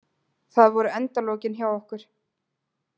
Það voru endalokin hjá okkur.